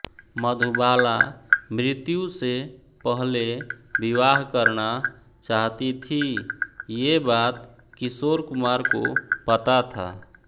मधुबाला मृत्यु से पहले विवाह करना चाहती थीं ये बात किशोर कुमार को पता था